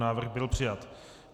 Návrh byl přijat.